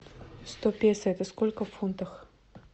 сто песо это сколько в фунтах